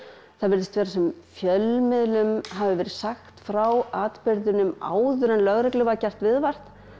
það virðist vera sem fjölmiðlum hafi verið sagt frá atburðinum áður en lögreglu var gert viðvart